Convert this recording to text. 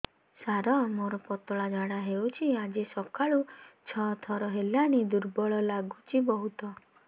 ସାର ମୋର ପତଳା ଝାଡା ହେଉଛି ଆଜି ସକାଳୁ ଛଅ ଥର ହେଲାଣି ଦୁର୍ବଳ ଲାଗୁଚି ବହୁତ